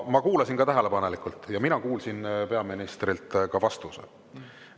Ma kuulasin ka tähelepanelikult ja mina kuulsin peaministrilt ka vastuse.